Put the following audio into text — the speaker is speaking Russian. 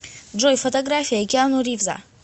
джой фотография киану ривза